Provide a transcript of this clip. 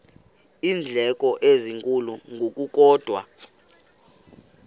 iindleko ezinkulu ngokukodwa